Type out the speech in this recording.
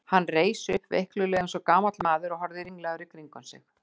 Hann reis upp veiklulega eins og gamall maður og horfði ringlaður í kringum sig.